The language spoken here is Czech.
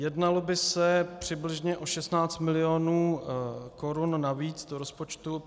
Jednalo by se přibližně o 16 mil. korun navíc do rozpočtu.